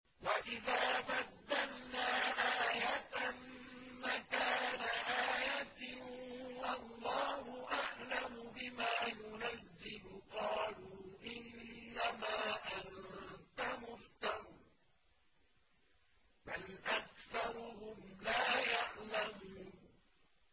وَإِذَا بَدَّلْنَا آيَةً مَّكَانَ آيَةٍ ۙ وَاللَّهُ أَعْلَمُ بِمَا يُنَزِّلُ قَالُوا إِنَّمَا أَنتَ مُفْتَرٍ ۚ بَلْ أَكْثَرُهُمْ لَا يَعْلَمُونَ